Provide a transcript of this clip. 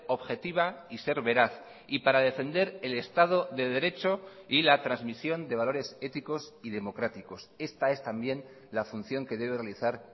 objetiva y ser veraz y para defender el estado de derecho y la transmisión de valores éticos y democráticos esta es también la función que debe realizar